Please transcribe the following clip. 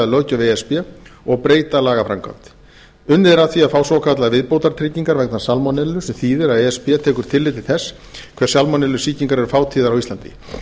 löggjöf eða og breyta lagaframkvæmd unnið er að því að fá svokallaðar viðbótartryggingar vegna salmonellu sem þýðir að e s b tekur tillit til þess hve salmonellusýkingar eru fátíðar á íslandi